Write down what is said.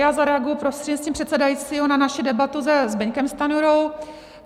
Já zareaguji prostřednictvím předsedajícího na naši debatu se Zbyňkem Stanjurou.